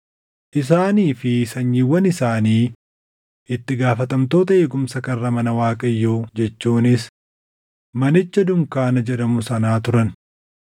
Isaanii fi sanyiiwwan isaanii itti gaafatamtoota eegumsa karra mana Waaqayyoo jechuunis manicha Dunkaana jedhamu sanaa turan.